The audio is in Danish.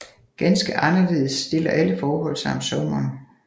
Ganske anderledes stiller alle forhold sig om sommeren